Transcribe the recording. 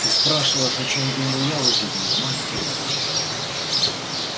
ты спрашиваешь о чём думаю я в эти дни матерь божья